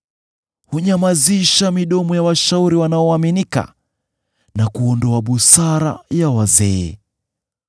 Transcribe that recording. Hunyamazisha midomo ya washauri wanaoaminika, na kuondoa busara ya wazee.